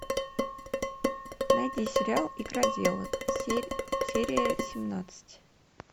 найди сериал игроделы серия семнадцать